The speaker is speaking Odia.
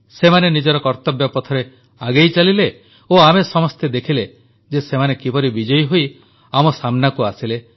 ସେମାନେ ନିଜ କର୍ତ୍ତବ୍ୟପଥରେ ଆଗେଇ ଚାଲିଲେ ଓ ଆମେ ସମସ୍ତେ ଦେଖିଲେ ଯେ ସେମାନେ କିପରି ବିଜୟୀ ହୋଇ ଆମ ସାମ୍ନାକୁ ଆସିଲେ